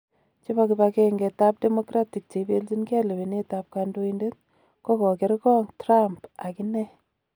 Chebo kibang'eng'et ab Democratic cheibeljingei lewenet ab kondoinatet kogogeerngog Trump akinee.